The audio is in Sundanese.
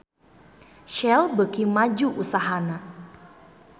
Shell beuki maju usahana